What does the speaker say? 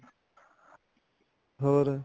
ਹੋਰ